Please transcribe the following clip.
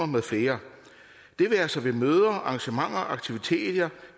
med flere det være sig ved møder arrangementer aktiviteter